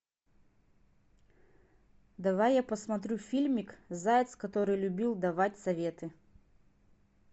давай я посмотрю фильмик заяц который любил давать советы